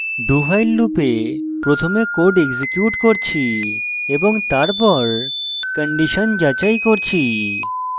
dowhile loop প্রথমে code execute করছি এবং তারপর condition যাচাই করছি